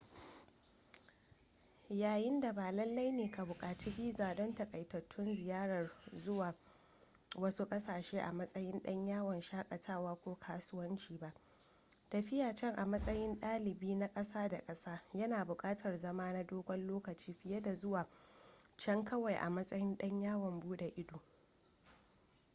yayin da ba lalle ne ka buƙaci biza don taƙaitattun ziyarar zuwa wasu ƙasashe a matsayin ɗan yawon shakatawa ko kasuwanci ba tafiya can a matsayin dalibi na ƙasa da ƙasa yana buƙatar zama na dogon lokaci fiye da zuwa can kawai a matsayin ɗan yawon buɗe ido